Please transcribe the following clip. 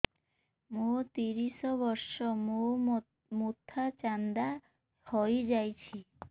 ମୋ ତିରିଶ ବର୍ଷ ମୋ ମୋଥା ଚାନ୍ଦା ହଇଯାଇଛି